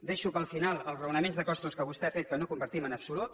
deixo per al final els raonaments de costos que vostè ha fet que no compartim en absolut